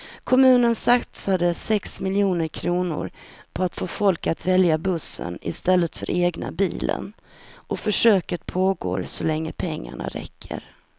Kommunen satsar sex miljoner kronor på att få folk att välja bussen i stället för egna bilen och försöket pågår så länge pengarna räcker.